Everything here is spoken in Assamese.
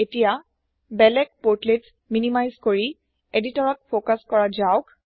এতিয়া বেলেগ পৰ্টলেট্স মিনিমাইজ কৰি এদিটৰ ত ফোকাছ কৰা যাওক